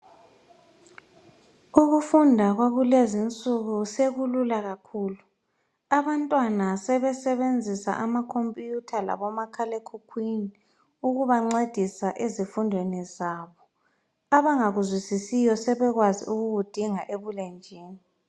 Ukufunda kwakulezinsuku sekulula kakhulu abantwana sebesebenzisa amakhompuyitha labomakhalekhukhwini ukubancedisa ezifundweni zabo. Abangakwaziyo sebekwazi ukukudinga ebulenjini.